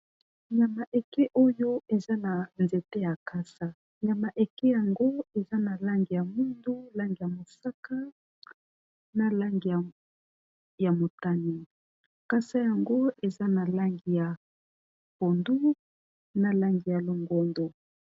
nyama eke oyo eza na nzete ya kasa nyama eke yango eza na langi ya mundu langi ya mosaka na langi ya motani kasa yango eza na langi ya pondu na langi ya longondo